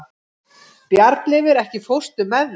Bjarnleifur, ekki fórstu með þeim?